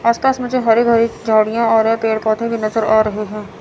आस पास मुझे हरी भरी झाड़ियां और ये पेड़ पौधे भी नजर आ रहे हैं।